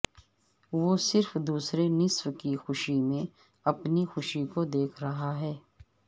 وہ صرف دوسرے نصف کی خوشی میں اپنی خوشی کو دیکھ رہا ہے